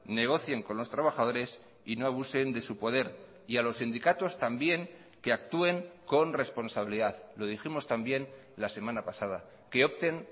negocien con los trabajadores y no abusen de su poder y a los sindicatos también que actúen con responsabilidad lo dijimos también la semana pasada que opten